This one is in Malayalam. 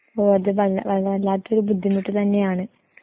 ഓ അത് വല്ല വല്ലാത്തൊരു ബുദ്ധിമുട്ട് തന്നെയാണ്.